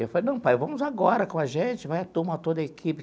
E eu falei, não, pai, vamos agora com a gente, vai a turma, toda a equipe.